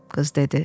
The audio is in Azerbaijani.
qız dedi.